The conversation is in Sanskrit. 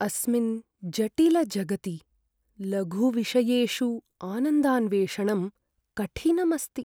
अस्मिन् जटिलजगति लघुविषयेषु आनन्दान्वेषणं कठिनम् अस्ति।